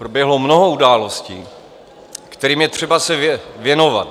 Proběhlo mnoho událostí, kterým je třeba se věnovat.